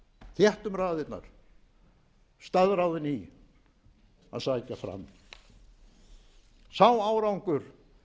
þéttum raðirnar staðráðin í að sækja fram sá árangur